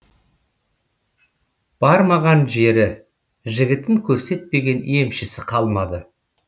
бармаған жері жігітін көрсетпеген емшісі қалмады